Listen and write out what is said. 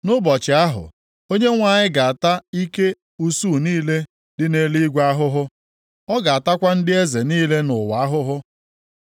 Nʼụbọchị ahụ, Onyenwe anyị ga-ata ike usuu niile dị nʼeluigwe ahụhụ. Ọ ga-atakwa ndị eze niile nʼụwa ahụhụ.